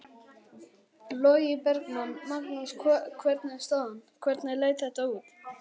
Logi Bergmann: Magnús hvernig er staðan, hvernig leit þetta út?